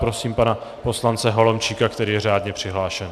Prosím pana poslance Holomčíka, který je řádně přihlášen.